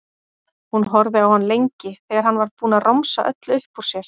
Hún horfði á hann lengi þegar hann var búinn að romsa öllu upp úr sér.